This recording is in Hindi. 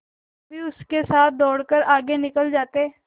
कभी सबके सब दौड़कर आगे निकल जाते